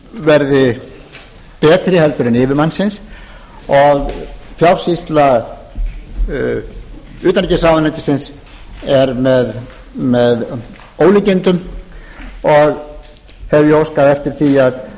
verði betri en yfirmannsins og fjársýsla utanríkisráðuneytisins er með ólíkindum og hef ég óskað eftir því að áður en